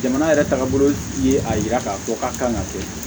Jamana yɛrɛ tagabolo ye a yira k'a fɔ k'a kan ka kɛ